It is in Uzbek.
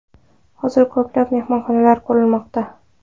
Hozir ko‘plab mehmonxonalar qurilmoqda.